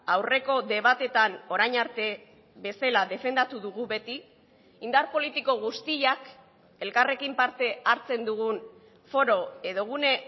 aurreko debatetan orain arte bezala defendatu dugu beti indar politiko guztiak elkarrekin parte hartzen dugun foro edo gune